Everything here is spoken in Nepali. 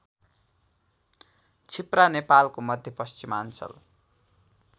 छिप्रा नेपालको मध्यपश्चिमाञ्चल